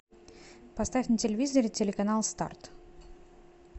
поставь на телевизоре телеканал старт